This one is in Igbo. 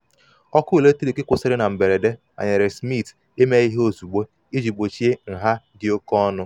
ọkụ eletrik kwụsịrị na mberede manyere smith ime ihe ozugbo iji gbochie nha iji gbochie nha dị oke ọnụ.